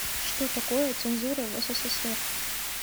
что такое цензура в ссср